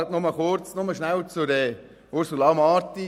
Ich äussere mich nur kurz zum Votum von Grossrätin Marti.